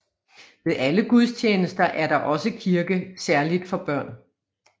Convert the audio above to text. Ved alle gudstjenester er der også kirke særligt for børn